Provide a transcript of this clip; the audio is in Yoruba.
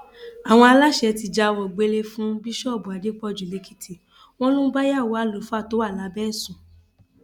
àwọn aláṣẹ ti jáwèé gbélé ẹ fún bíṣọọbù adépọjú lẹkìtì wọn ló ń báyàwó àlùfáà tó wà lábẹ ẹ sùn